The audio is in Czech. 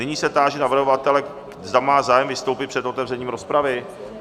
Nyní se táži navrhovatele, zda má zájem vystoupit před otevřením rozpravy?